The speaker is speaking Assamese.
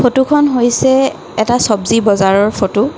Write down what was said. ফটোখন হৈছে এটা চবজি বজাৰৰ ফটো ।